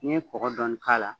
N'i ye kɔkɔ dɔɔnin k'a la